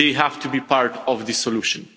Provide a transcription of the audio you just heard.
They have to be part of the solution.